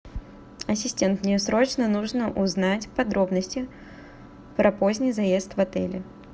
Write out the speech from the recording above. ассистент мне срочно нужно узнать подробности про поздний заезд в отеле